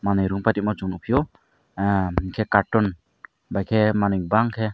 moom pati ma chung nugfio ah enke carton by ke manui bang ke.